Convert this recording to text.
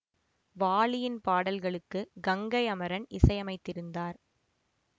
வாலியின் பாடல்களுக்கு கங்கை அமரன் இசையமைத்திருந்தார்